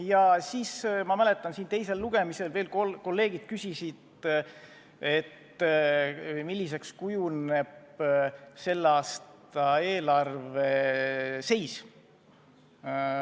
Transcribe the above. Ja siis ma mäletan, et siin teisel lugemisel veel kolleegid küsisid, milliseks kujuneb selle aasta eelarve seis.